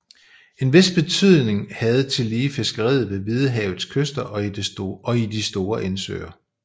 En vis betydning havde tillige fiskeriet ved Hvidehavets kyster og i de store indsøer